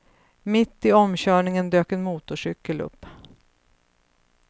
Mitt i omkörningen dök en motorcykel upp.